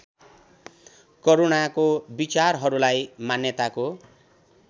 करूणाको विचारहरूलाई मान्यताको